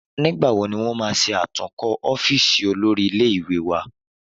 Nígbà wo ni wọn máa ṣe atúnkó ọ́fíìsì olórí ilé ìwé wa